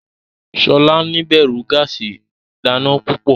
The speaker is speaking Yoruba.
Shola níbẹrù gáàsì ìdáná púpọ.